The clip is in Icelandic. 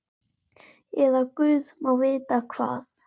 Eða guð má vita hvað.